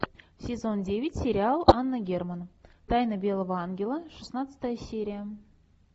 сезон девять сериал анна герман тайна белого ангела шестнадцатая серия